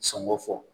Sɔngɔ fɔ